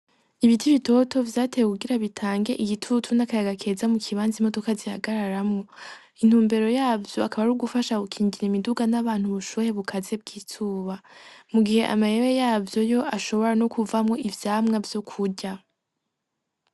Ibiti Bitoto, Vyatewe Kugira Bitange Igitutu N'Akayaga Keza Mukibanza Imodoka Zihagararamwo. Intumbero Yavyo Akaba Ar'Ugufasha Gukingira Imiduga N'Abantu Ubushuhe Bukaze Bw'Izuba. Mugihe Amayera Yavyo Yo Ashobora No Kuvamwo Ivyamwa Vy'Ukurya.